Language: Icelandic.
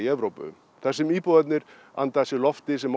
Evrópu þar sem íbúarnir anda að sér lofti sem